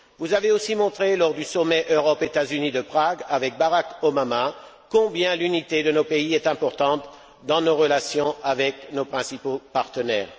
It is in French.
Vous avez aussi montré, lors du Sommet Europe États Unis de Prague, avec Barack Obama, combien l'unité de nos pays était importante dans nos relations avec nos principaux partenaires.